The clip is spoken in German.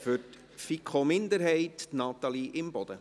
Für die FiKo-Minderheit, Natalie Imboden.